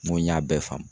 N ko n y'a bɛɛ faamu